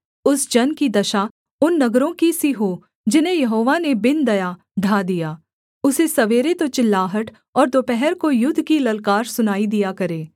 उस जन की दशा उन नगरों की सी हो जिन्हें यहोवा ने बिन दया ढा दिया उसे सवेरे तो चिल्लाहट और दोपहर को युद्ध की ललकार सुनाई दिया करे